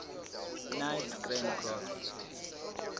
knights grand cross